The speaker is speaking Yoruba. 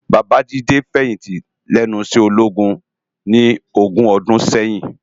Baba Jide fèyinti lènú iṣè ólógún ni ógùn òdùn sèyin